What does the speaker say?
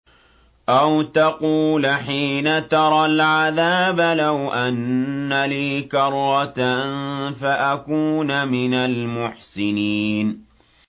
أَوْ تَقُولَ حِينَ تَرَى الْعَذَابَ لَوْ أَنَّ لِي كَرَّةً فَأَكُونَ مِنَ الْمُحْسِنِينَ